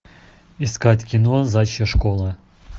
искать кино заячья школа